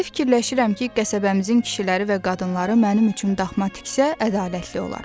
Belə fikirləşirəm ki, qəsəbəmizin kişiləri və qadınları mənim üçün daxma tiksə, ədalətli olar.